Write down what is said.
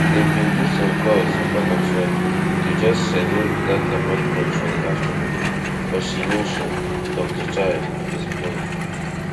dem bin do some calls back and forth to just schedule dat appointment for di afternoon but she no show dr child explain